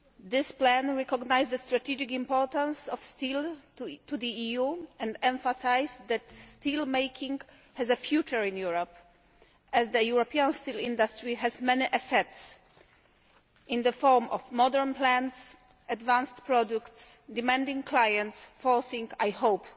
This plan recognised the strategic importance of steel to the EU and emphasised that steel making has a future in Europe, as the European steel industry has many assets in the form of modern plants, advanced products, demanding clients forcing, I hope,